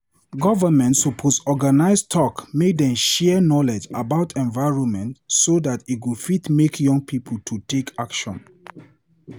Government suppose organise talk make dem share knowledge about environment so dat e fit make young pipo to take action.